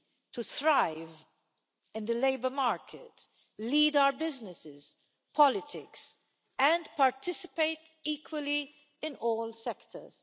to thrive in the labour market, lead our businesses, politics and participate equally in all sectors.